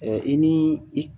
i ni i